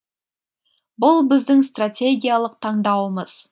бұл біздің стратегиялық таңдауымыз